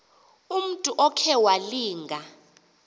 umntu okhe walinga